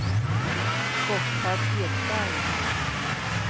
Gotthard Ekberg